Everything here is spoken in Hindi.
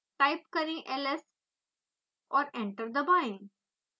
टाइप करें ls और एंटर दबाएं